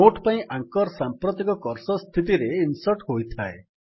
note ପାଇଁ anchor ସାମ୍ପ୍ରତିକ cursor ସ୍ଥିତିରେ ଇନ୍ସର୍ଟ୍ ହୋଇଥାଏ